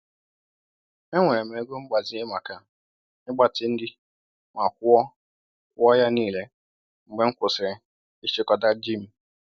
Ewere m ego mgbazinye maka ịgbatị nri ma kwụọ kwụọ ya niile mgbe m kwụsịrị ịchịkọta ji m.